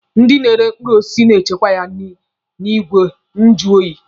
Ndị na-ere mkpụrụ osisi na-echekwa ya n'igwe nju oyi.